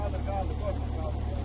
Qaldır, qaldır, qaldır.